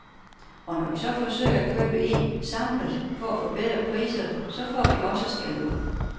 Og når vi så forsøger at købe ind samlet for at få bedre priser, så får vi også skældud.